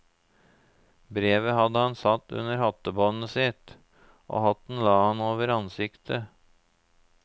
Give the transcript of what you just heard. Brevet hadde han satt under hattebåndet sitt, og hatten la han over ansiktet.